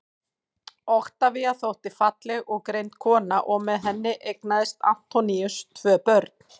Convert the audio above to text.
oktavía þótti falleg og greind kona og með henni eignaðist antoníus tvö börn